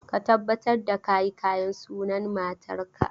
Ka tabbatar da ka yi kayan sunan matarka!